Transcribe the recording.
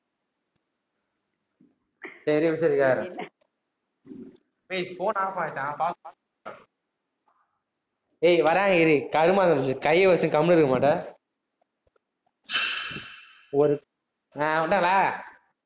சேரி, ஒரு நிமிஷம் இரு கேக்கிறேன் ஏய் phone off ஏய், வராங்க இரு. கருமாந்தரம் புடிச்சது கைய வச்சிட்டு, கம்முனு இருக்க மாட்ட ஒரு அஹ் வந்துட்டாங்களா